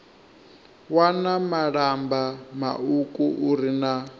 wana malamba mauku uri na